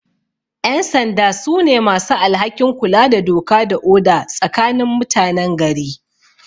Ƴansanda su ne masu alhakin kula da doka da oda tsakanin mutanen gari